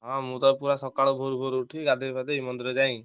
ହଁ ମୁଁ ତ ପୁରା ସକାଳୁ ଭୋରୁଭୋରୁ ଉଠି ଗାଧେଇ ପାଧେଇ ମନ୍ଦିର ଯାଇ,